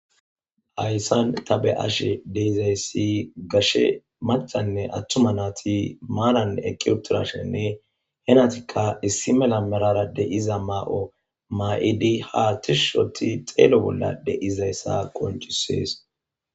ayssan tabe ashe deizayssi gashe macanne attuma naati maanan eqqi utirashenne henatikka issi mela merara de iza maa7o maa7idi haatishushoti xeelo bolla de7izayssa koncisees